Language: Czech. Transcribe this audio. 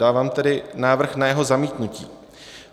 Dávám tedy návrh na jeho zamítnutí.